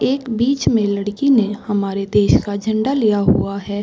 एक बीच में लड़की ने हमारे देश का झंडा लिया हुआ है।